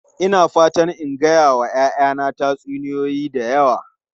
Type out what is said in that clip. Ina fatan in gaya wa 'ya'yana tatsuniyoyi da yawa.